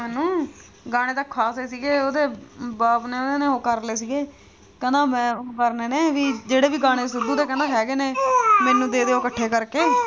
ਮੈਨੂੰ ਗਾਣੇ ਤਾਂ ਖਾਸ ਹੀ ਸੀ ਗੇ ਉਹਦੇ ਬਾਪ ਨੇ ਉਹਦੇ ਉਹ ਕਰ ਲਈ ਸੀ ਗੇ ਕਹਿੰਦਾ ਮੈਂ ਉਹ ਕਰਨੇ ਨੇ ਵੀ ਜਿਹੜੇ ਕਹਿੰਦਾ ਗਾਣੇ ਸਿੱਧੂ ਦੇ ਹੈਗੇ ਮੈਨੂੰ ਦੇ ਦਿਓ ਇਕੱਠੇ ਕਰਕੇ ਮੈਨੂੰ।